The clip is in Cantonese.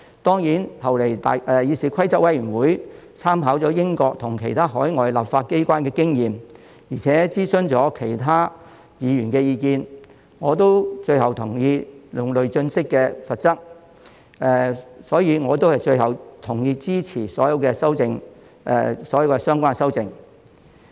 當然，後來議事規則委員會參考了英國及其他海外立法機關的經驗，而且諮詢了其他議員的意見，最後，我亦同意用累進式的罰則，所以，最後我同意支持所有相關的修訂。